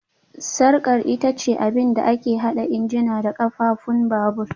Sarkar ita ce abin da ke haɗa injina da ƙafafun babur